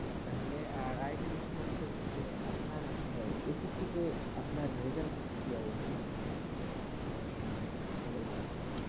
তাহলে আর আরেকটি বিষয় হচ্ছে হচ্ছে যে আপনার আহ SSC -তে আপনার result -এর কি অবস্থা, আপনি পড়াশোনার result কি ছিল?